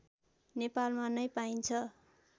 नेपालमा नै पाइन्छ